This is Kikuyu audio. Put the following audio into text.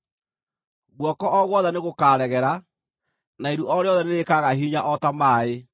Guoko o guothe nĩgũkaregera, na iru o rĩothe nĩrĩkaaga hinya o ta maaĩ.